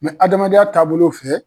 hadamadenya taabolo fɛ